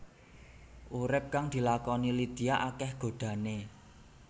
Urip kang dilakoni Lydia akéh godhané